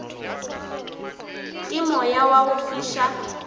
ke moya wa go fiša